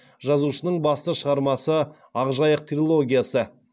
жазушының басты шығармасы ақ жайық трилогиясы